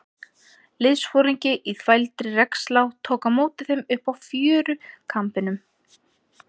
Liðsforingi í þvældri regnslá tók á móti þeim uppi á fjörukambinum.